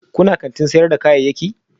Kuna kantin sayar da kayayyaki?